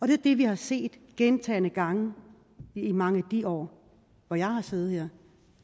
det er det vi har set gentagne gange i mange af de år hvor jeg har siddet her